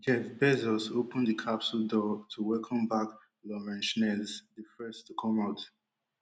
jeff bezos open di capsule door to welcome back lauren snchez di first to come out